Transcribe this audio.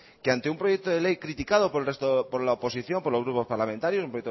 que ante un proyecto de ley criticado por la oposición por los grupos parlamentarios un